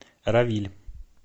равиль